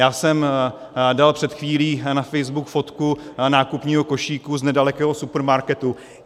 Já jsem dal před chvílí na Facebook fotku nákupního košíku z nedalekého supermarketu.